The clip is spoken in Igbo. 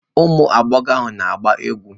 Ụmụ agbọghọ na-agba egwú.